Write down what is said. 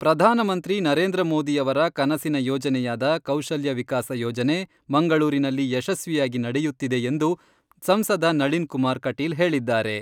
ಪ್ರಧಾನಮಂತ್ರಿ ನರೇಂದ್ರ ಮೋದಿಯವರ ಕನಸಿನ ಯೋಜನೆಯಾದ ಕೌಶಲ್ಯವಿಕಾಸ ಯೋಜನೆ ಮಂಗಳೂರಿನಲ್ಲಿ ಯಶಸ್ವಿಯಾಗಿ ನಡೆಯುತ್ತಿದೆ ಎಂದು ಸಂಸದ ನಳಿನ್ಕುಮಾರ ಕಟೀಲ್ ಹೇಳಿದ್ದಾರೆ.